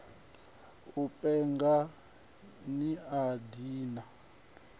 u penga ni a ḓivha